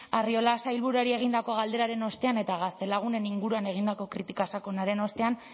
arriola sailburuari egindako galderaren ostean eta gaztelagunen inguruan egindako kritika sakonaren ostean